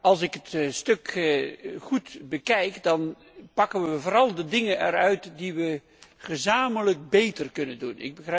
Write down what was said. Als ik het stuk goed bekijk, dan pakken we vooral de dingen eruit die we gezamenlijk beter kunnen doen.